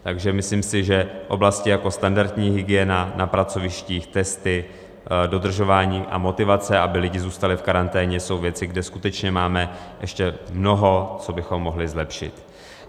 Takže myslím si, že oblasti jako standardní hygiena na pracovištích, testy, dodržování a motivace, aby lidi zůstali v karanténě, jsou věci, kde skutečně máme ještě mnoho, co bychom mohli zlepšit.